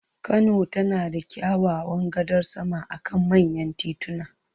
Kano tana da kyawawan gadar sama akan manyan tituna.